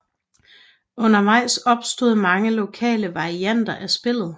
Undervejs opstod mange lokale varianter af spillet